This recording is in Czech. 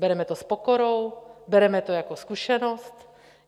Bereme to s pokorou, bereme to jako zkušenost.